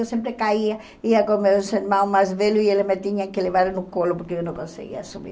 Eu sempre caía, ia com meus irmão mais velho e ele me tinha que levar no colo porque eu não conseguia subir.